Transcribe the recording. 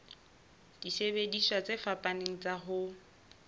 disebediswa tse fapaneng tsa ho